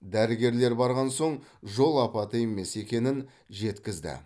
дәрігерлер барған соң жол апаты емес екенін жеткізді